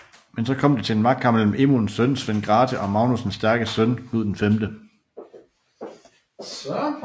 Men så kom det til magtkamp mellem Emunes søn Svend Grathe og Magnus den Stærkes søn Knud 5